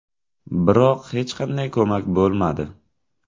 Biroq hech qanday ko‘mak bo‘lmadi.